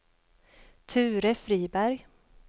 Ture Friberg